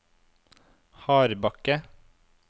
Hardbakke